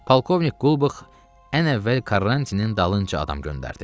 Polkovnik Qulbax ən əvvəl Karantinin dalınca adam göndərdi.